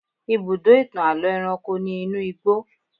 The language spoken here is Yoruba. Ibùdó ìtàn àlọ́ ẹranko ni inú igbó.